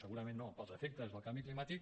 segurament no pels efectes del canvi climàtic